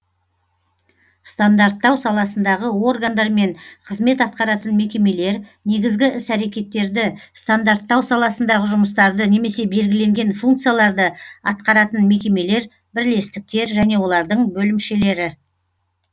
стандарттау саласындағы органдар мен қызмет атқаратын мекемелер негізгі іс әрекеттерді стандарттау саласындағы жұмыстарды немесе белгіленген функцияларды атқаратын мекемелер бірлестіктер және олардың бөлімшелері